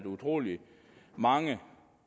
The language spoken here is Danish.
utrolig mange